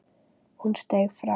Hún steig fram.